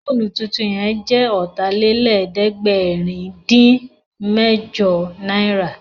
Fóònù tuntun yẹn jẹ́ Ọ̀tàlélẹ̀ẹ́dẹ́gbẹ̀rin-dín-mẹ́jọ náírà